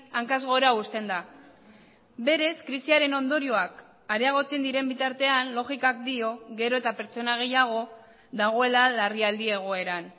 hankaz gora uzten da berez krisiaren ondorioak areagotzen diren bitartean logikak dio gero eta pertsona gehiago dagoela larrialdi egoeran